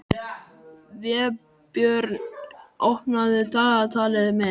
Vébjörn, opnaðu dagatalið mitt.